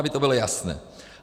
Aby to bylo jasné.